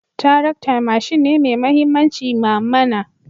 Tarakta mashin ne mai mahimmanci ma mana